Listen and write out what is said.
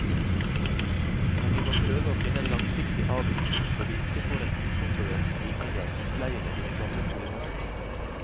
Men vi må prøve å finne en langsiktig avvikling, så vi ikke får en ukontrollert stigning av husleiene i den gamle boligmassen.